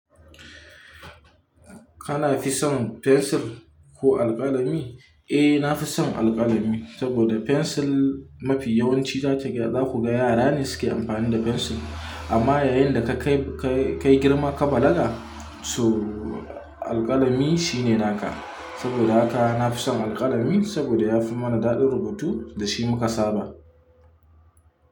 Kana fi son fensir ko alƙalami? Eh, na fi son alƙalami saboda fensil mafi yawanci za ku ga yara ne suke amfani da fensil. Amma yayin da ka kai girma ka balaga, to alƙalami shine naka. Saboda haka na fi son alƙalami saboda ya fi mana daɗin rubutu da shi muka saba.